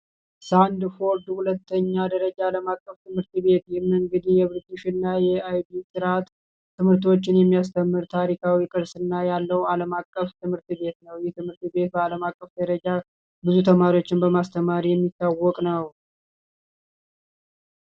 ሳንድፎልድ ዓለም አቀፍ ሁለተኛ ደረጃ ትምህርት ቤት ይህ እንግዲህ የብርቲሽ እና የአይፒ ትምህቶችን የሚያስተምር ታሪካዊ ቅርስ ያለው ዓለም አቀፍ ትምህርት ቤት ነው። በአለም አቀፍ ደረጃ ብዙ ተማሪዎችን በማስተማር የሚታወቅ ነው።